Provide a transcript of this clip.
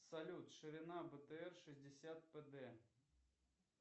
салют ширина бтр шестьдесят пд